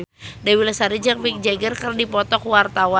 Dewi Lestari jeung Mick Jagger keur dipoto ku wartawan